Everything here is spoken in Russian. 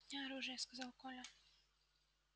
у меня оружие сказал коля